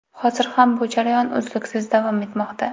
Hozir ham bu jarayon uzluksiz davom etmoqda.